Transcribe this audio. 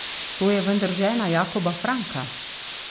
To je vendar žena Jakoba Franka.